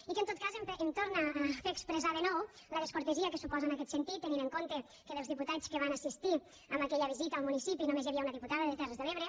i que en tot cas em torna a fer expressar de nou la descortesia que suposa en aquest sentit tenint en compte que dels diputats que van assistir en aquella visita al municipi només hi havia una diputada de terres de l’ebre